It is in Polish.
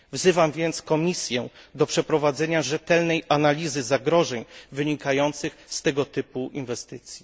Wzywam więc Komisję do przeprowadzenie rzetelnej analizy zagrożeń wynikających z tego typu inwestycji.